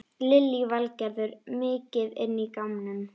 Lillý Valgerður: Mikið inn í gámnum?